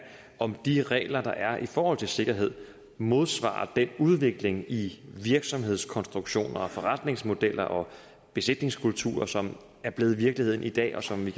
om de regler der er i forhold til sikkerhed modsvarer den udvikling i virksomhedskonstruktioner forretningsmodeller og besætningskulturer som er blevet virkeligheden i dag og som vi